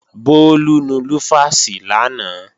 Bólú nu lúfàsì lánàá